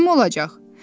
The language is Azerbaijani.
Kim olacaq?